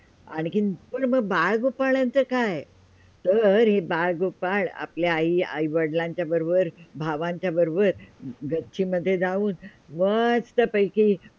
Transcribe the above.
आणखी म बाल -गोपाळांचा काय? तर हे बाल -गोपाळ आपल्या आई -वडिलांच्या बरोबर, भावांच्या बरोबर गच्ची मध्ये जाऊन मस्तपैकी